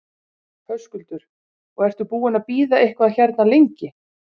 Höskuldur: Og ertu búinn að bíða eitthvað hérna lengi?